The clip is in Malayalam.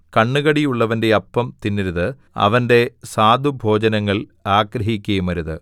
കണ്ണുകടിയുള്ളവന്റെ അപ്പം തിന്നരുത് അവന്റെ സ്വാദുഭോജ്യങ്ങൾ ആഗ്രഹിക്കുകയുമരുത്